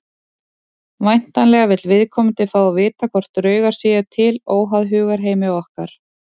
Væntanlega vill viðkomandi fá að vita hvort draugar séu til óháð hugarheimi okkar.